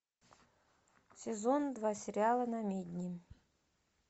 сезон два сериала намедни